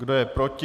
Kdo je proti?